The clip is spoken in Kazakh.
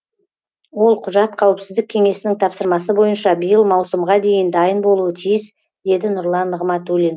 ол құжат қауіпсіздік кеңесінің тапсырмасы бойынша биыл маусымға дейін дайын болуы тиіс деді нұрлан нығматулин